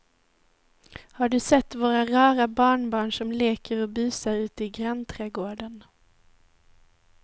Har du sett våra rara barnbarn som leker och busar ute i grannträdgården!